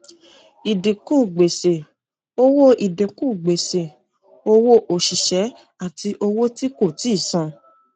ìdínkù gbèsè owó ìdínkù gbèsè owó òṣìṣẹ àti owó tí kò tíì san